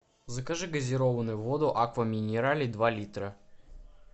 закажи газированную воду аква минерале два литра